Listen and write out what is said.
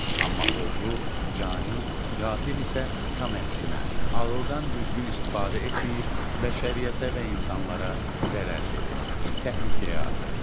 Amma oğru, cani, qatil isə tam əksinə ağıldan düzgün istifadə etməyib, bəşəriyyətə və insanlara zərər verir, təhlükəyə atır.